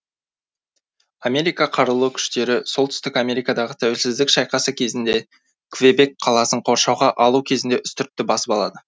америка қарулы күштері солтүстік америкадағы тәуелсіздік шайқасы кезінде квебек қаласын қоршауға алу кезінде үстіртті басып алады